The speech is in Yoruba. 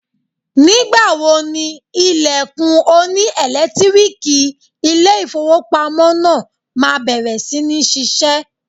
Nígbà wo ni ilẹ̀kùn oní ẹ̀lẹ́tíríìkì ilé ìfowópamọ́ náà máa bẹ̀rẹ̀ sí ní ṣiṣẹ́.?